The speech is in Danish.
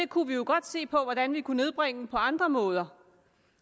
kunne jo godt se på hvordan vi kunne nedbringe omfanget på andre måder